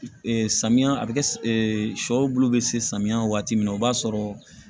samiya a bɛ kɛ sɔ bulu bɛ se samiyɛ waati min na o b'a sɔrɔ